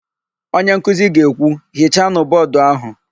Onyenkuzi ga-ekwu, "hichanụ bọọdụ áhụ̀"!